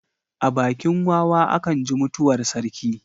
A bakin wawa a kan ji mutuwar sarki.